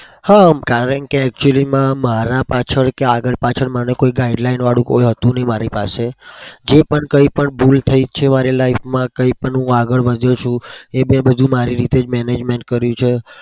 હા કારણ કે actually માં મારા પાછળ કે આગળ પાછળ માનો કે guideline વાળું કોઈ હતું નહિ મારી પાસે જે પણ કઈ પણ ભૂલ પણ થઇ છે મારી life માં કઈ પણ હું આગળ વધ્યો છુ એ મેં બધું મારી રીતે જ management કર્યું છે.